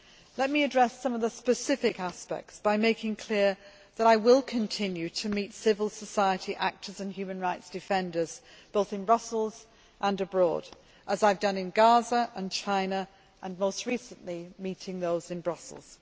Let me address some specific aspects by making clear that I will continue to meet civil society actors and human rights defenders, both in Brussels and abroad, as I have done in Gaza, in China and, most recently, in Brussels.